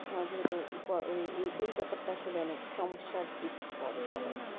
এই ব্যাপার তা আসলে অনেক সমস্যার সৃষ্টি করে